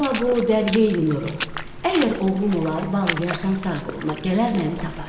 Ala bu dəryeyi Nurru, əgər oğlum olar, bağlayarsan sağ qoluna, gələr məni tapar.